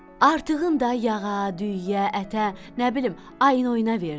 Artığının da yağa, düyüyə, ətə, nə bilim, ayın oyuna verdi.